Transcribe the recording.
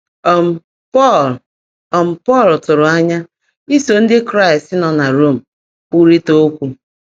um Pọ́l um Pọ́l tụ́rụ́ ányá ísó Ndị́ Kráịst nọ́ ná Róm kwụ́rị́tá ókwụ́.